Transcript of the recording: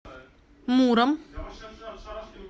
муром